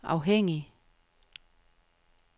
afhængig